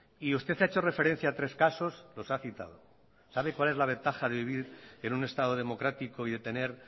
y usted ha hecho referencia a tres casos los ha citado sabe cuál es la ventaja de vivir en un estado democrático y de tener